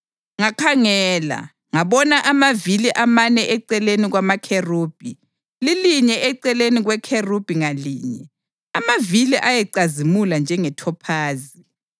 Ngakhangela, ngabona amavili amane eceleni kwamakherubhi, lilinye eceleni kwekherubhi ngalinye, amavili ayecazimula njengethophazi.